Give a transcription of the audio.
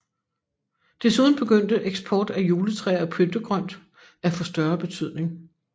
Desuden begyndte eksport af juletræer og pyntegrønt at få større betydning